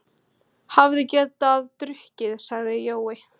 Hefði getað drukknað, sagði Jói.